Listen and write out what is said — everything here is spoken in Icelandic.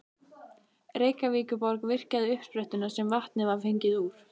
Reykjavíkurborg virkjaði uppsprettuna sem vatnið var fengið úr.